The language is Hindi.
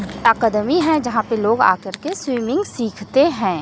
टाकदमी स्विमिंग सीखते हैं।